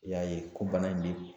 I y'a ye ko bana in bɛ